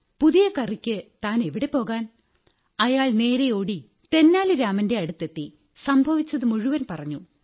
പുതിയ കറിക്ക് താനെവിടെപ്പോകാൻ അയാൾ നേരെ ഓടി തെനാലി രാമന്റെ അടുത്തെത്തി സംഭവിച്ചതു മുഴുവൻ പറഞ്ഞു